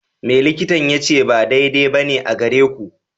Me likitan ya ce ba daidai ba ne a gare ku?